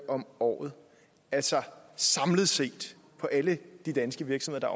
om året altså samlet set på alle de danske virksomheder